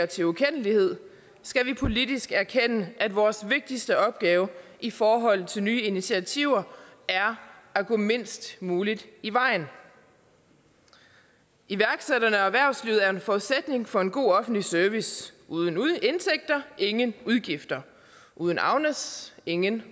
til ukendelighed skal vi politisk erkende at vores vigtigste opgave i forhold til nye initiativer er at gå mindst muligt i vejen iværksætterne og erhvervslivet er jo en forudsætning for en god offentlig service uden indtægter ingen udgifter uden agnes ingen